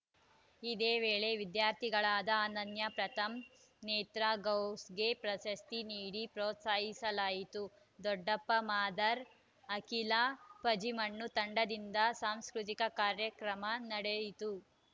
ಇದೇ ವೇಳೆ ವಿದ್ಯಾರ್ಥಿಗಳಾದ ಅನನ್ಯ ಪ್ರಥಮ್‌ ನೇತ್ರ ಗೌಸ್‌ಗೆ ಪ್ರಶಸ್ತಿ ನೀಡಿ ಪ್ರೋತ್ಸಾಹಿಸಲಾಯಿತು ದೊಡ್ಡಪ್ಪ ಮಾದರ್‌ ಅಖಿಲಾ ಪಜಿಮಣ್ಣು ತಂಡದಿಂದ ಸಾಂಸ್ಕೃತಿಕ ಕಾರ್ಯಕ್ರಮ ನಡೆಯಿತು